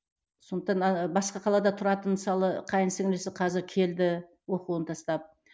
сондықтан а басқа қалада тұратын мысалы қайын сіңілілісі қазір келді оқуын тастап